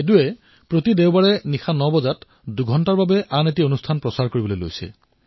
সেদুজীৰ পিতৃয়ে তেওঁৰ ভাৰতীয় সংস্কৃতিৰ সৈতে পৰিচয় কৰাই দিছিল